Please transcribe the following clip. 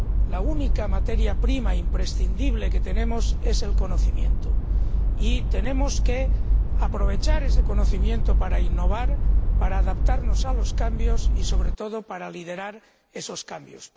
La única materia prima imprescindible que tenemos es el conocimiento y debemos aprovechar ese conocimiento para innovar, para adaptarnos a los cambios y, sobre todo, para liderar esos cambios.